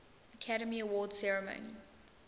academy awards ceremony